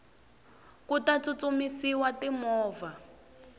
ku ta tsutsumisiwa ti movha